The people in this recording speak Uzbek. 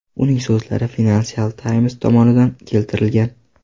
Uning so‘zlari Financial Times tomonidan keltirilgan.